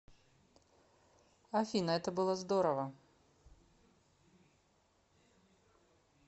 афина это было здорово